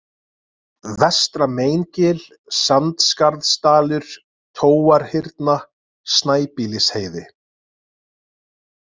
Vestra-Meingil, Sandskarðsdalur, Tóarhyrna, Snæbýlisheiði